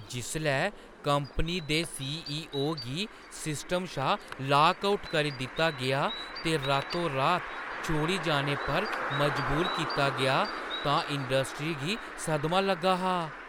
जिसलै कंपनी दे सी.ई.ओ. गी सिस्टम शा लाक आउट करी दित्ता गेआ ते रातो-रात छोड़ी जाने पर मजबूर कीता गेआ तां इंडस्ट्री गी सदमा लग्गा हा।